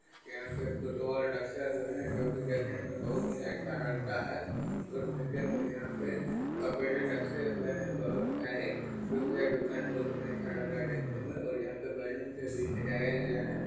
यहां पर फुटबॉल रखा हुआ है जो की देखने मे बहुत ही अच्छा लगता है | उस नीचे मे यहां पे कपड़े रखे हुए हैं बहुत सारे। जो कि ये दुकान बहुत ही अच्छा लग रहा हैं देखने में और यहाँ पे बैलून से भी सजाया गया है |